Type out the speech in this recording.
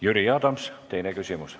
Jüri Adams, teine küsimus.